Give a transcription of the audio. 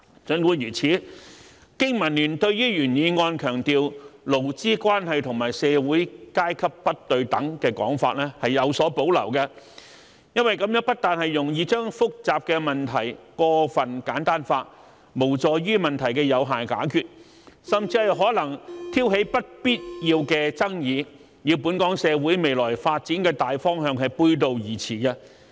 儘管如此，經民聯對於原議案強調"勞資關係和社會階級不對等"的說法卻有所保留，這不但容易將複雜的問題過分簡單化，無助於問題的有效解決，甚至可能挑起不必要的爭議，與本港社會未來發展的大方向背道而馳。